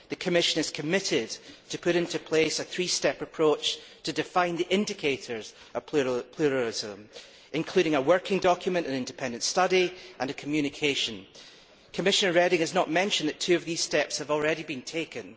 The Commission is committed to putting into place a three step approach to define the indicators of pluralism, including a working document, an independent study and a communication. Commissioner Reding has not mentioned that two of these steps have already been taken.